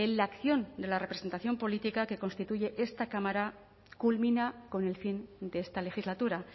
la acción de la representación política que constituye esta cámara culmina con el fin de esta legislatura